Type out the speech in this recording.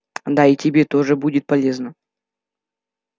да и тебе тоже будет полезно